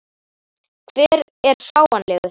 Hver er fáanlegur?